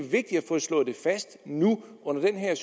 slået fast nu under den her